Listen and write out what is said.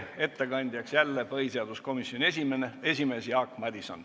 Ettekandja on jälle põhiseaduskomisjoni esimees Jaak Madison.